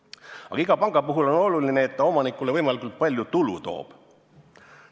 Aga iga panga puhul on oluline, et ta omanikule võimalikult palju tulu toob.